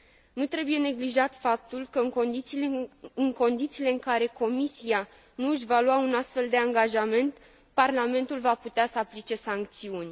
Nu trebuie neglijat faptul că, în condițiile în care Comisia nu și va lua un astfel de angajament, Parlamentul va putea să aplice sancțiuni.